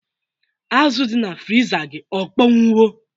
Azụ dị na friza gị akpọnwụwo?